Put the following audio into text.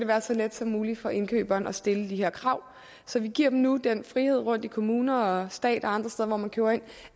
være så let som muligt for indkøberen at stille de her krav så vi giver dem nu den frihed rundt i kommuner og stat og andre steder hvor man køber ind